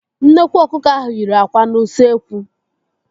Nnekwu ọkụkọ ahụ yiri àkwà n'ụsekwu.